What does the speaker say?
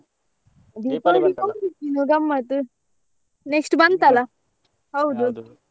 ಗಮ್ಮತ್ next .